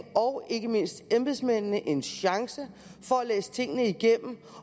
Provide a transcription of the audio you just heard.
og ikke mindst embedsmændene en chance for at læse tingene igennem